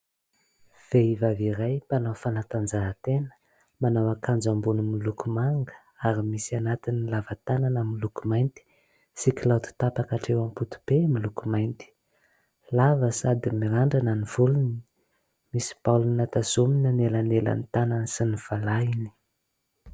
Vehivavy iray mpanao fanatanjahantena, manao akanjo ambony miloko manga ary misy anatin'ny lavatanana miloko mainty sy kiloty tapaka atreo am-potope miloko mainty. Lava sady mirandrana ny volony, misy baolina tazomina anelanelan'ny tanany sy ny falahiny.